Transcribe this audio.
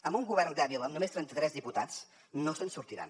amb un govern dèbil amb només trenta tres diputats no se’n sortiran